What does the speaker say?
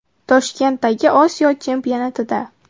Toshkentdagi Osiyo chempionatida.